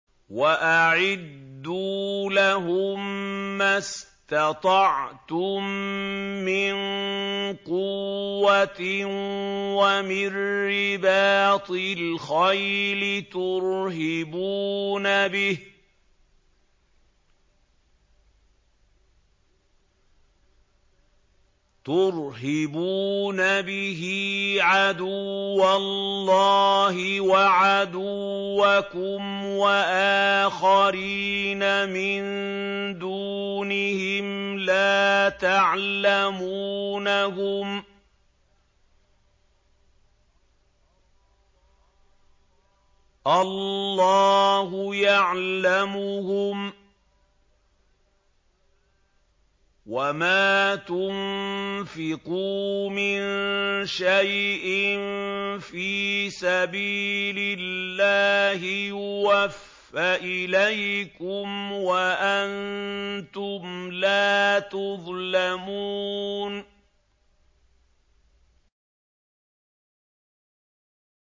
وَأَعِدُّوا لَهُم مَّا اسْتَطَعْتُم مِّن قُوَّةٍ وَمِن رِّبَاطِ الْخَيْلِ تُرْهِبُونَ بِهِ عَدُوَّ اللَّهِ وَعَدُوَّكُمْ وَآخَرِينَ مِن دُونِهِمْ لَا تَعْلَمُونَهُمُ اللَّهُ يَعْلَمُهُمْ ۚ وَمَا تُنفِقُوا مِن شَيْءٍ فِي سَبِيلِ اللَّهِ يُوَفَّ إِلَيْكُمْ وَأَنتُمْ لَا تُظْلَمُونَ